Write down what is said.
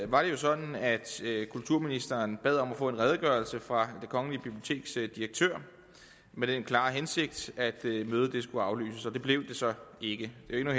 var det jo sådan at kulturministeren bad om at få en redegørelse fra det kongelige biblioteks direktør med den klare hensigt at mødet skulle aflyses og det blev det så ikke det er jo